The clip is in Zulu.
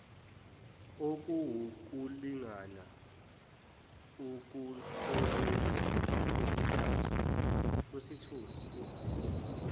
okuwukulingana ukuhlonishwa kwesithunzi